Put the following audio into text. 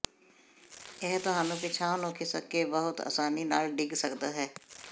ਇਹ ਤੁਹਾਨੂੰ ਪਿਛਾਂਹ ਨੂੰ ਖਿਸਕ ਕੇ ਬਹੁਤ ਆਸਾਨੀ ਨਾਲ ਡਿੱਗ ਸਕਦਾ ਹੈ